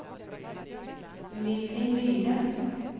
Lilly Myhren